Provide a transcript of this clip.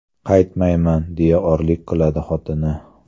Qaytmayman, deya o‘rlik qiladi xotini.